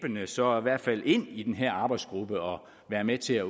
så i hvert fald ind i den her arbejdsgruppe og være med til at